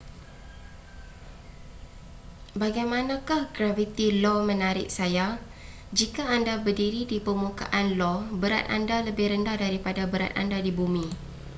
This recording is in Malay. bagaimanakah graviti io menarik saya jika anda berdiri di permukaan io berat anda lebih rendah daripada berat anda di bumi